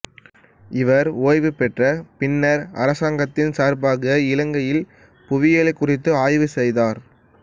இவர் ஓய்வு பெற்ற பின்னர் அரசாங்கத்தின் சார்பாக இலங்கையின் புவியியல் குறித்து ஆய்வு செய்தார்